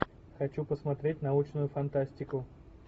хочу посмотреть научную фантастику